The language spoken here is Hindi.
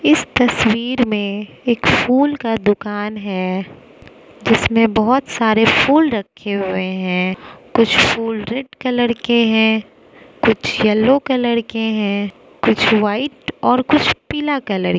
इस तस्वीर में एक फूल का दुकान है जिसमें बहुत सारे फूल रखे हुए हैं कुछ फूल रेड कलर के हैं कुछ येलो कलर के हैं कुछ व्हाइट और कुछ पीला कलर --